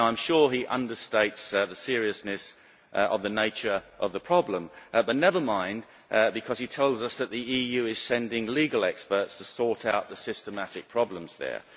I am sure he understates the seriousness of the nature of the problem, but never mind, because he tells us that the EU is sending legal experts to sort out the systematic problems there.